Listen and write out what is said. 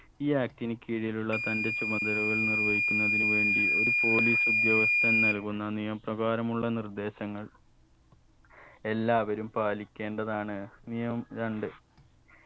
ഈ act ന് കീഴിലുള്ള തന്റെ ചുമതലകൾ നിർവഹിക്കുന്നതിന് വേണ്ടി ഒരു police ഉദ്യോഗസ്ഥൻ നൽകുന്ന നിയമപ്രകാരമുള്ള നിർദ്ദേശങ്ങൾ എല്ലാവരും പാലിക്കേണ്ടതാണ് നിയം രണ്ട്